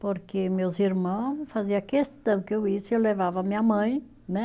Porque meus irmão faziam questão que eu eu levava minha mãe, né?